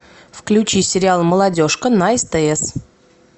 включи сериал молодежка на стс